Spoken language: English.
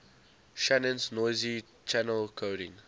shannon's noisy channel coding